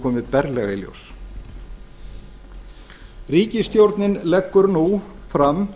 komið berlega í ljós ríkisstjórnin leggur nú fram